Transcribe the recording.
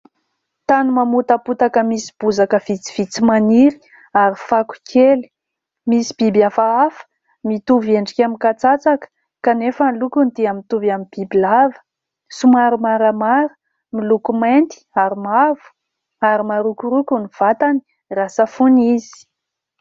Tany mamotapotaka misy bozaka vitsivitsy maniry ary fako kely. Misy biby hafahafa, mitovy endrika amin'ny katsatsaka kanefa ny lokony dia mitovy amin'ny bibilava. Somary maramara, miloko mainty ary mavo ary marokoroko ny vatany raha safoina izy.